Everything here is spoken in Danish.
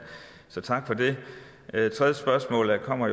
så tak for det det tredje spørgsmål kommer